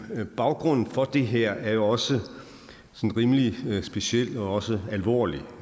baggrunden for det her er også rimelig speciel og også alvorlig